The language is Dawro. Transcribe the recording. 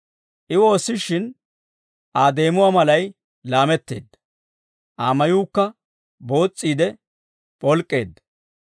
I woossishin, Aa deemuwaa malay laametteedda; Aa mayuukka boos's'iide p'olk'k'eedda.